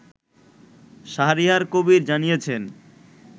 শাহরিয়ার কবির জানিয়েছেন